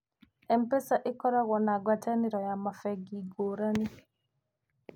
M-pesa nĩ ĩkoragũo na ngwatanĩro na mabengi ngũrani.